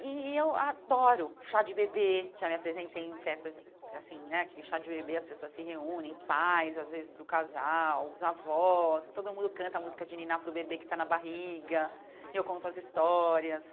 E eu adoro chá de bebê, já me apresentei em festas, assim né, aquele chá de bebê, as pessoas se reúnem, pais, às vezes, do casal, os avós, todo mundo canta a música de Niná para o bebê que está na barriga, eu conto as histórias.